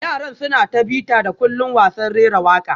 Yaran suna ta bita-da-kullin wasan rera waka